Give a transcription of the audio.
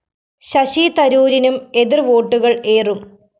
ശശി തരൂരിനും എതിര്‍ വോട്ടുകള്‍ ഏറും